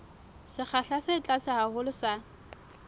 sekgahla se tlase haholo sa